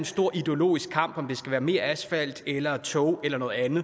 stor ideologisk kamp om om der skal være mere asfalt eller toge eller noget andet